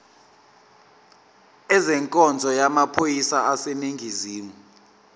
ezenkonzo yamaphoyisa aseningizimu